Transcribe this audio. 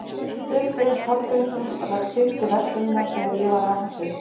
Friðgeir Hallgrímsson rak fimmtu verslunina þegar ég var að alast upp.